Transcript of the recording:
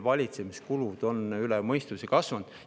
Valitsemiskulud on üle mõistuse kasvanud.